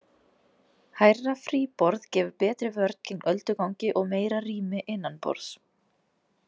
Hærra fríborð gefur betri vörn gegn öldugangi og meira rými innanborðs.